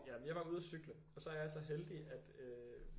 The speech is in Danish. Jamen jeg var ude og cykle og så er jeg så heldig at øh